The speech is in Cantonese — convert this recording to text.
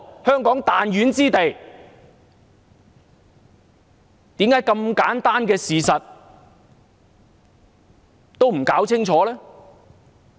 香港只是個彈丸之地，為何這麼簡單的事實都搞不清楚呢？